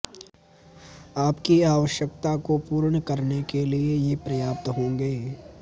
आपकी आवश्यकता को पूर्ण करने के लिए ये पर्याप्त होंगें